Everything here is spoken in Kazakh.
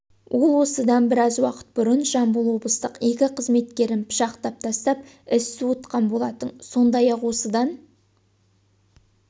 ол осыдан біраз уақыт бұрын жамбыл облыстық екі қызметкерін пышақтап тастап із суытқан болатын сондай-ақ осыдан